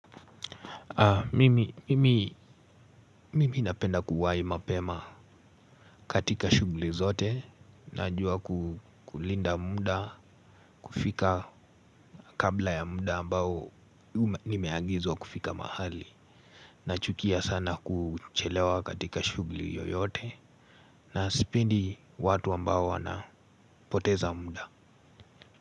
Mimi napenda kuwai mapema katika shughli zote najua kulinda muda kufika kabla ya muda ambao nimeagizwa kufika mahali nachukia sana kuchelewa katika shugli yoyote na sipendi watu ambao wanapoteza muda.